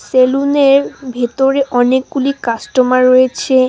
সেলুনের ভেতরে অনেক গুলি কাস্টমার রয়েছে।